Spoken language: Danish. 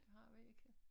Det har vi ikke